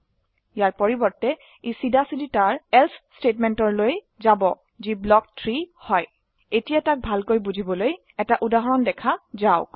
ইয়াৰ পৰিবৰ্তে ই চিধা চিধি তাৰ এলছে স্টেটমেন্টৰ লৈ যাব যি ব্লক 3 হয় এতিয়া তাক ভালকৈ বুঝিবলৈ এটা উদাহৰণ দেখা যাওক